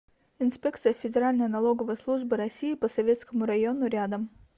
инспекция федеральной налоговой службы россии по советскому району рядом